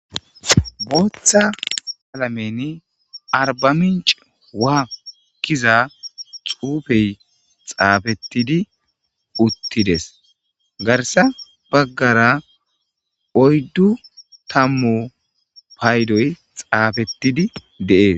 Boththa qalamen (Arba mincce wuha) gizza xuffe xaafetidd uttidees. Garssa baggara uydu tammu payddoy xafetid dees.